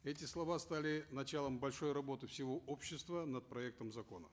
эти слова стали началом большой работы всего общества над проектом закона